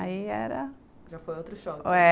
Aí era... Já foi outro choque. É.